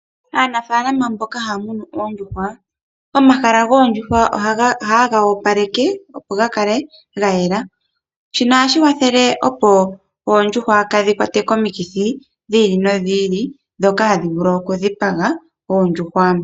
Aanafaalama mboka ha ya munu oondjuhwa , omahala goondjuhwa ohaye ga opaleke opo ga kale ga yela. Shino ohashi kwathele opo oondjuhwa kaa dhi kwatwe komikithi dhi i li nodhi ili ndhoka hadhi vulu oku dhipaga oondjuhwa.